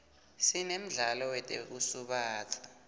sinemdlalo wetekusubatsa